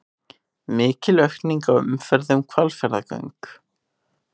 Mikil aukning á umferð um Hvalfjarðargöng